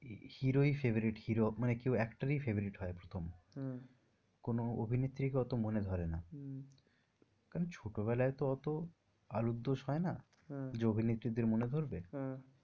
hero ই favourite hero মানে কেউ actor ই favourite হয় প্রথম হম কোনো অভিনেত্রীকে ওতো মনে ধরে না হম কারণ ছোটো বেলায় তো ওতো আলুর দোষ হয় না হম যে অভিনেত্রী দের মনে ধরবে। হ্যাঁ ।